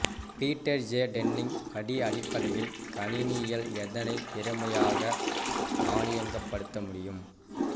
Peter J Denning படி அடிப்படை கணினியியல் எதனை திறமையாக தானியங்கிப்படுத்த முடியும்